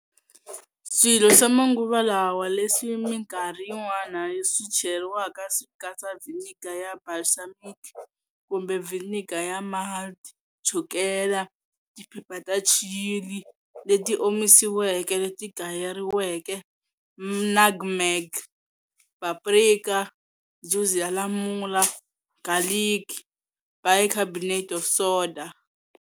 Swilo swa manguva lawa leswi mikarhi yin'wana swi cheriwaka swi katsa vhiniga ya balsamic kumbe vhiniga ya malt, chukela, tiphepha ta chilli leti omisiweke leti gayeriweke, nutmeg, paprika, juzi ya lamula, garlic, bicarbonate of soda,